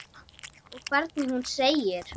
Og hvernig hún segir